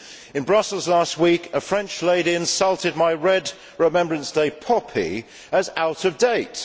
In Brussels last week a French lady insulted my red Remembrance Day poppy as out of date'.